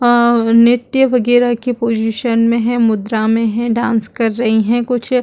और नृत्य वगैरह की पोजीशन में है मुद्रा में है डांस कर रही है कुछ --